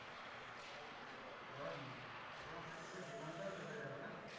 কিছু করার নেই ওখানে থাকলে তো জীবনটাও চলে যাবে না?